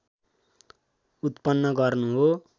उत्पन्न गर्नु हो